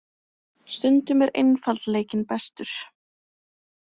Stundum er einfaldleikinn bestur.